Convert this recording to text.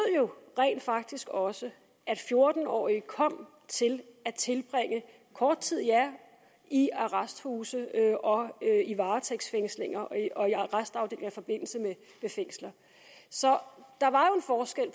jo rent faktisk også at fjorten årige kom til at tilbringe kort tid i arresthuse og og i arrestafdelinger i forbindelse med fængsler så der var jo en forskel